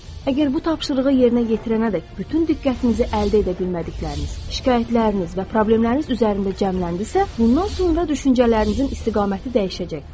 Əgər bu tapşırığı yerinə yetirənədək bütün diqqətinizi əldə edə bilmədikləriniz, şikayətləriniz və problemləriniz üzərində cəmləndisə, bundan sonra düşüncələrinizin istiqaməti dəyişəcək.